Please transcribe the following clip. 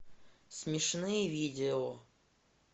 смешные видео